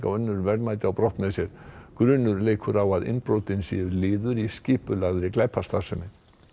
og önnur verðmæti á brott með sér grunur leikur á að innbrotin séu liður í skipulagðri glæpastarfsemi